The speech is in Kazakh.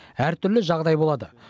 әртүрлі жағдай болады